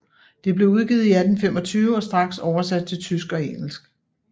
Det blev udgivet i 1825 og straks oversat til tysk og engelsk